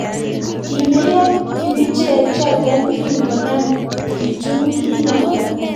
Kimeiyoo kibicheek chotok kingonam kichungii notok